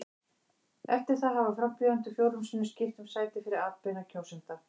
Eftir það hafa frambjóðendur fjórum sinnum skipt um sæti fyrir atbeina kjósenda.